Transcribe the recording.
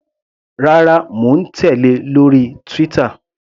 Rárá, mò ń tèlé lórí Twitter.